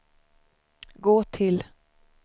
gå till